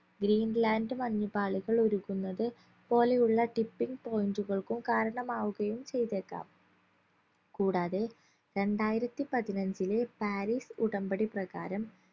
green land മഞ്ഞുപാളികൾ ഉരുകുന്നത് പോലെയുള്ള tipping point കൾക്കും കാരണമാവുകയും ചെയ്‌തേക്കാം കൂടാതെ രണ്ടായിരത്തി പതിനഞ്ചിലെ പാരീസ് ഉടമ്പടി പ്രകാരം